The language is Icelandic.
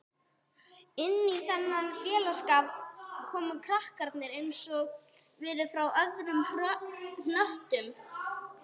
Inní þennan félagsskap komu kanarnir einsog verur frá öðrum hnöttum